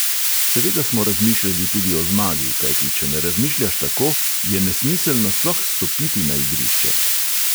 Seveda smo razmišljali tudi o zmagi, kajti če ne razmišljaš tako, je nesmiselno sploh stopiti na igrišče.